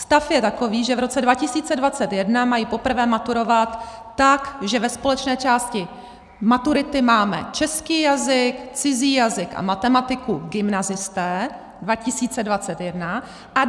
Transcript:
Stav je takový, že v roce 2021 mají poprvé maturovat tak, že ve společné části maturity mají český jazyk, cizí jazyk a matematiku gymnazisté - 2021 a 2022, to znamená za dva roky;